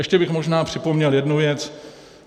Ještě bych možná připomněl jednu věc.